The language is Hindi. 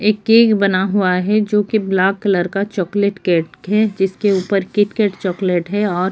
एक केक बना हुआ है जो की ब्लाक कलर का चॉकलेट केक है। जिसके ऊपर किटकैट चॉकलेट है और --